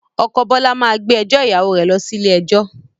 Ọkọ̀ Bọlá máa gbé ẹjọ́ ìyàwó rẹ lọ sí ilé ẹjọ́